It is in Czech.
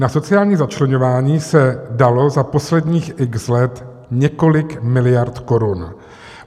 Na sociální začleňování se dalo za posledních x let několik miliard korun.